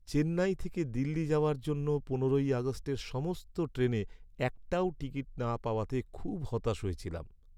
চেন্নাই থেকে দিল্লি যাওয়ার জন্য পনেরোই আগস্টের সমস্ত ট্রেনে একটাও টিকিট না পাওয়াতে খুব হতাশ হয়েছিলাম।